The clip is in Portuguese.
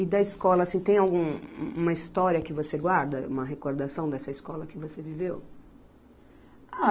E da escola, assim, tem algum, uma história que você guarda, uma recordação dessa escola que você viveu? Ah